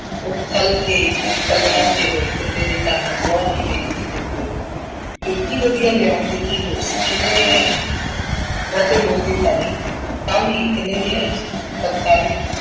ਉਹ ਕੇ ਤੇ ਪੱਲਿਆਂ ਤੇ ਹੋਏ ਦੇ ਕੰਮ ਨੂੰ ਗਹੁ ਨਾਲ ਵੇਖਦੀ ਹੋਈ ਬੋਲੀ, ਇੱਡੀ ਵਧੀਆ ਲਿਆਉਣ ਦੀ ਕੀ ਲੋੜ ਸੀ ਕਿੰਨੇ ਦੀ ਲਿਆਂਦੀ ਜੀ, ਵੱਧ ਮੁੱਲ ਦੀ ਤਾਂ ਨਹੀਂ, ਤਾਂ ਵੀ ਕਿੰਨੇ ਦੀ ਆਈ ਪੰਤਾਲੀਆਂ ਦੀ।